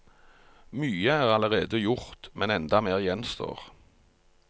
Mye er allerede gjort, men enda mer gjenstår.